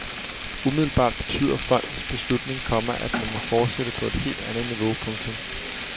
Umiddelbart betyder fondens beslutning, komma at man må fortsætte på et helt andet niveau. punktum